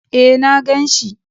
E, na gan shi.